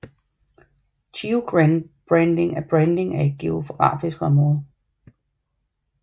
Geobranding er branding af et geografisk område